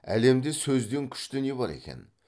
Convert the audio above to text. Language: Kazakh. әлемде сөзден күшті не бар екен